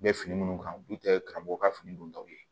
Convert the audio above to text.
U bɛ fini minnu kan u dun tɛ karamɔgɔw ka fini dontaw ye